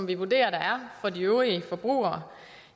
vi vurderer der er for de øvrige forbrugere